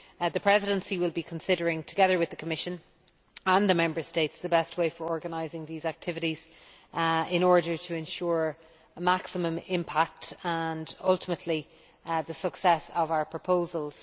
The Presidency will be considering, together with the Commission and the Member States, the best way of organising these activities in order to ensure a maximum impact and, ultimately, the success of our proposals.